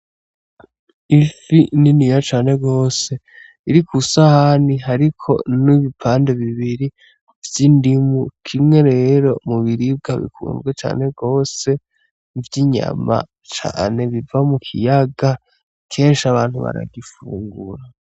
Ifi niniya cane gose iri kwi sahani, hariko n'ibipande bibiri vy'indimu, kimwe rero mu biribwa bikunzwe gose vy'inyama biva mu kiyaga, kenshi abantu barazifungura.